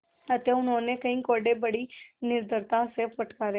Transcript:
अतएव उन्होंने कई कोडे़ बड़ी निर्दयता से फटकारे